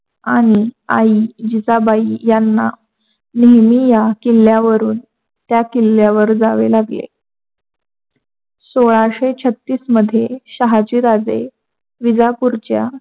आणि आई जिजाबाई यांना नेहमी या किल्ल्यावरून त्या किल्यावर जावे लागले. सोलाशे छत्तीस मध्ये शहाजी राजे विजापूरच्या